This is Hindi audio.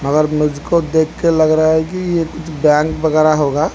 मगर मुझको देख के लग रहा है कि ये कुछ बैंक वगैराह होगा।